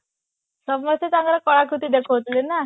ସମସ୍ତେ ତାଙ୍କର କଳାକୃତି ଦେଖୋଉ ଥିଲେ ନା